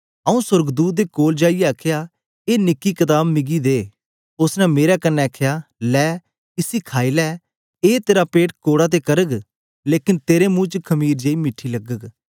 आऊँ सोर्गदूत दे कोल जाईयै आखया ए निकी कताब मिकी दे उस्स ने मेरे कन्ने आखया ले इस्से खाई ले ए तेरा पेट कोड़ा ते करग लेकन तेरे मुंह च मखीर जेई मीठी लगग